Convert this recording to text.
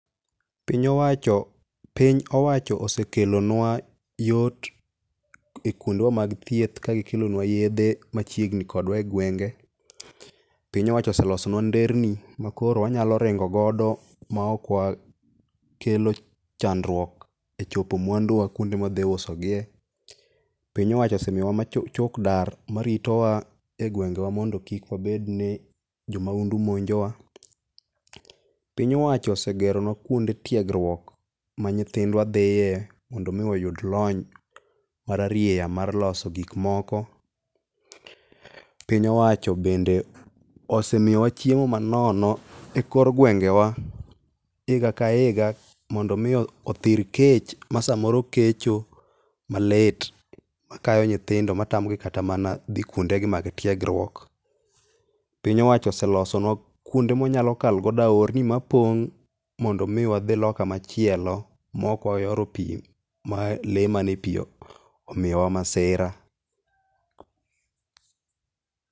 Piny owacho osekelonwa yot e kwondewa mag thieth kagikelonwa yedhe machiegni kodwa e gwenge. Piny owacho oselosonwa nderni makoro wanyalo ringo godo ma ok wakelo chandruok e chopo mwanduwa kwonde mwadhi usogie. Piny owacho osemiyowa chokdar maritowa e gwengewa mondo kik wabed ni jomahundu monjo wa. Piny owacho osegero nwa kwonde tiegruok ma nyithindwa dhiye mondo omi oyud lony parariya mar loso gik moko. Piny owacho bende osemiyowa chiemo manono e kor gwengewa higa ka higa mondo omi othir kech ma samoro kecho malit, makayo nyithindo ma tamogi kata mana dhi kwondegi mag tiegruok. Piny owacho oselosonwa kwonde mwa nyalo kalo godo aorni mapong' mondo omi wadhi loka machielo mok wayoro pi, ma lee manie pi omiyowa masira.